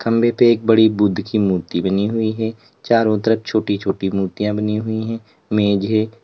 खंबे पे एक बड़ी बुद्ध की मूर्ति बनी हुई है चारों तरफ छोटी छोटी मूर्तियां बनी हुई है मेज है।